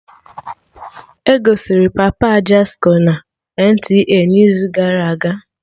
Egosiri Papa Ajasco na NTA n'izu gara aga